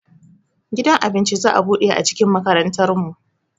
Gidan abinci za'a buɗe a cikin makarantar mu